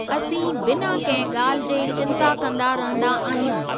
असीं बिना कंहिं ॻाल्हि जे चिंता कंदा रहंदा आहयूं।